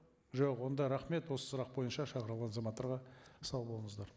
жоқ онда рахмет осы сұрақ бойынша шақырылған азаматтарға сау болыңыздар